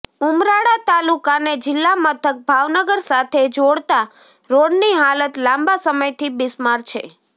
ઉમરાળા તાલુકાને જિલ્લા મથક ભાવનગર સાથે જોડતા રોડની હાલત લાંબા સમયથી બિસ્માર છે